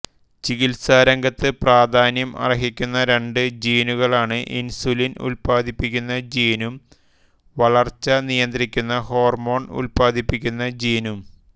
ചികിത്സാരംഗത്ത് പ്രാധാന്യം അർഹിക്കുന്ന രണ്ട് ജീനുകളാണ് ഇൻസുലിൻ ഉത്പാദിപ്പിക്കുന്ന ജീനും വളർച്ച നിയന്ത്രിക്കുന്ന ഹോർമോൺ ഉത്പാദിപ്പിക്കുന്ന ജീനും